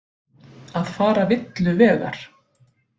Að fara villu vegar